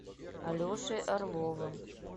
алешей орловым